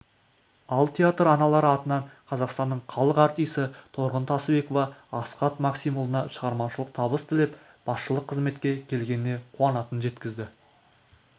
ал театр аналары атынан қазақстанның халық артисі торғын тасыбекова асхат максимұлына шығармашылық табыс тілеп басшылық қызметке келгеніне қуанатынын жеткізді